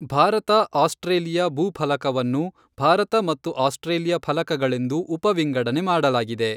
Bharat Australia ಭೂಫಲಕವನ್ನು, ಭಾರತ ಮತ್ತು Australia ಫಲಕಗಳೆಂದು ಉಪವಿಂಗಡಣೆ ಮಾಡಲಾಗಿದೆ.